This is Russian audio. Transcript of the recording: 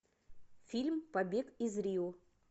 фильм побег из рио